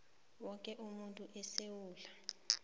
woke umuntu esewula